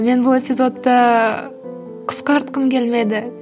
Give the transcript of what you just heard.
мен бұл эпизодты қысқартқым келмеді